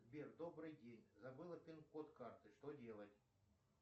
сбер добрый день забыла пин код карты что делать